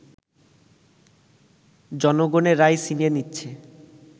জনগণের রায় ছিনিয়ে নিচ্ছে